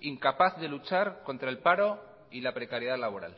incapaz de luchar contra el paro y la precariedad laboral